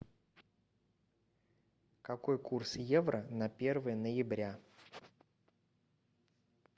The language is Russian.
какой курс евро на первое ноября